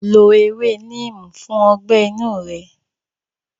Lo ewé Neem fún ọgbẹ́ inú rẹ.